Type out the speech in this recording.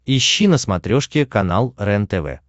ищи на смотрешке канал рентв